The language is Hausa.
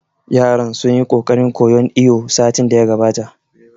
Yaran sun yi ƙoƙarin koyan iwo satin da ya gabata